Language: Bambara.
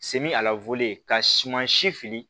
ka suman si fili